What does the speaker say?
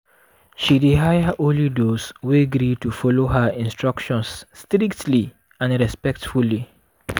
she dey hire only those wey gree to follow her instructions strictly and respectfully.